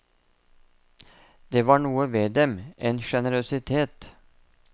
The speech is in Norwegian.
Det var noe ved dem, en generøsitet.